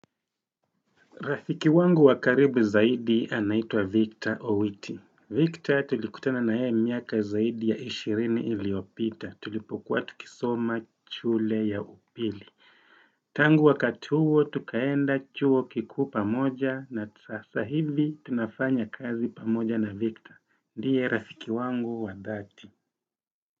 Rafiki wangu wa karibu zaidi anaitwa Victor Owiti Victor tulikutana na yeye miaka zaidi ya 20 iliyopita tulipokua tukisoma shule ya upili Tangu wakati huo tukaenda chuo kikuu pamoja na sasa hivi tunafanya kazi pamoja na Victor ndiye rafiki wangu wa dhati.